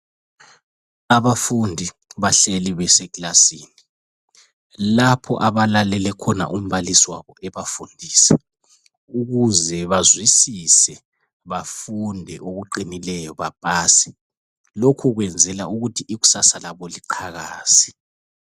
Abafundi bahleli beseclassin lapho abalalele khona umbalisi wabo ebafundisa ukuze bazwisise bafunde okuqinileyo bapase, lokhu kwenzela ukuthi ikusasa labo liqhakaze.